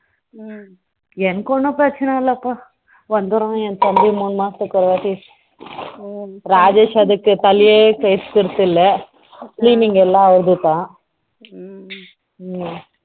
எனக்கு ஒன்னும் பிரச்சனை இல்லப்பா foreign language